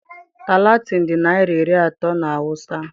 Talatin dị naira iri atọ na awụsa.